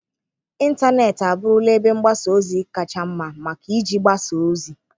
Ịntanetị abụrụla ebe mgbasa ozi kacha mma maka iji gbasa ozi.